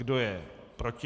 Kdo je proti?